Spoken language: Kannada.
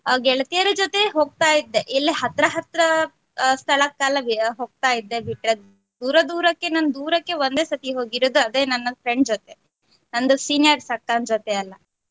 ನಾನು ನನ್ನ ಗೆಳತಿಯರ ಜೊತೆ ಹೋಗ್ತಾ ಇದ್ದೆ ಇಲ್ಲೇ ಹತ್ರ ಹತ್ರ ಸ್ಥಳಕಲ್ಲದೆ ಹೋಗ್ತಾ ಇದ್ದೆ ಬಿಟ್ರೆ ದೂರ ದೂರಕ್ಕೆ ನಾನ್ ದೂರಕ್ಕೆ ಒಂದೇ ಸರ್ತಿ ಹೋಗಿರೋದು ಅದೆ ನನ್ friend ಜೊತೆ ನಂದು seniors ಅಕ್ಕನ್ ಜೊತೆ.